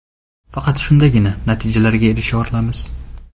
Faqat shundagina natijaga erisha olamiz.